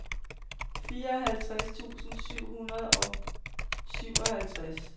fireoghalvtreds tusind syv hundrede og syvoghalvtreds